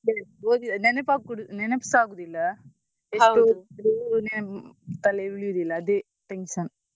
ಅದೇ ಓದಿದ ನೆನಪಾಗ್~ ನೆನಪ್ಸಾ ಆಗುದಿಲ್ಲ ಎಷ್ಟು ಓದಿದ್ರು ನೆನ್~ ತಲೆಯಲ್ಲಿ ಉಳಿಯುದಿಲ್ಲ ಅದೇ tension .